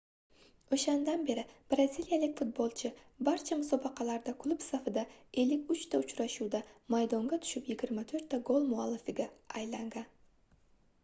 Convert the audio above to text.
oʻshandan beri braziliyalik futbolchi barcha musobaqalarda klub safida 53 ta uchrashuvda maydonga tushib 24 ta gol muallifiga aylangan